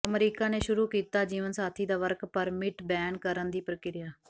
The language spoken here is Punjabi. ਅਮਰੀਕਾ ਨੇ ਸ਼ੁਰੂ ਕੀਤਾ ਜੀਵਨਸਾਥੀ ਦਾ ਵਰਕ ਪਰਮਿਟ ਬੈਨ ਕਰਨ ਦੀ ਪ੍ਰਕਿਰਿਆ